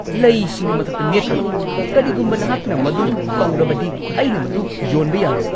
ꯂꯩꯁꯤꯡꯒꯤ ꯃꯊꯛꯇ ꯅꯦꯠꯀꯅꯣ! ꯀꯔꯤꯒꯨꯝꯕ ꯅꯍꯥꯛꯅ ꯃꯗꯨ ꯇꯧꯔꯕꯗꯤ ꯑꯩꯅ ꯃꯗꯨ ꯌꯣꯟꯕ ꯌꯥꯔꯣꯏ!